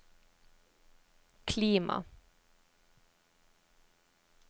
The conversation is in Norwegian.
klima